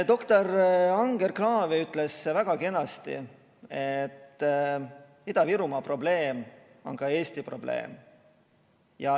Doktor Anger-Kraavi ütles väga kenasti, et Ida-Virumaa probleem on terve Eesti probleem.